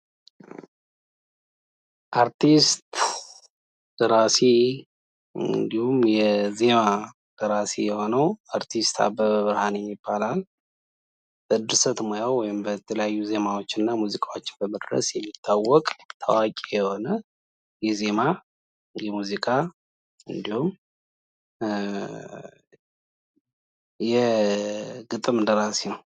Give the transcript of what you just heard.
አርቲስት ደራሲ እንድሁም የዜማ ደራሲ የሆነው አርቲስት አበበ ብርሃኔ ይባላል። በድርሰት ሙያው ወይ በተለያዩ ዜማዎች እና ሙዚቃዎቹ በመድረስ የሚታወቅ ታዋቂ የሆነ የዜማ የሙዚቃ እንድሁም የግጥም ደራሲ ነው።